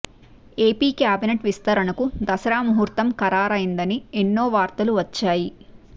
AP cabinet విస్తరణకు దసరా ముహూర్తం ఖరారైందని ఎన్నో వార్తలు వచ్చాయి